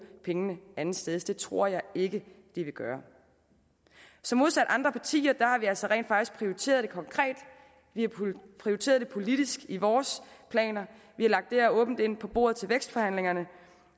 pengene andetsteds det tror jeg ikke at de vil gøre så modsat andre partier har vi altså rent faktisk prioriteret det konkret vi har prioriteret det politisk i vores planer vi har lagt det her åbent ind på bordet til vækstforhandlingerne